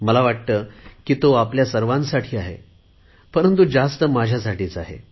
मला वाटते तो आपल्या सर्वांसाठी आहे परंतु जास्त माझ्यासाठीच आहे